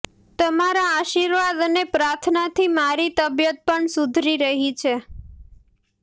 તમારા આશીર્વાદ અને પ્રાર્થનાથી મારી તબિયત પણ સુધરી રહી છે